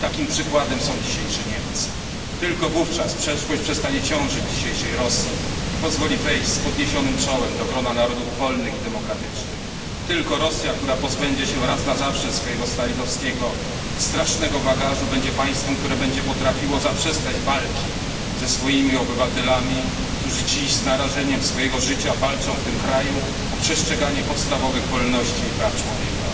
Takim przykładem są dzisiejsze Niemcy. Tylko wówczas przeszłość przestanie ciążyć dzisiejszej Rosji i pozwoli wejść z podniesionym czołem do grona narodów wolnych i demokratycznych, tylko Rosja, która pozbędzie się raz na zawsze swojego stalinowskiego, strasznego bagażu stanie się państwem, które będzie potrafiło zaprzestać walki ze swoimi obywatelami, którzy dziś z narażeniem życia walczą w tym kraju o przestrzeganie podstawowych wolności i praw człowieka.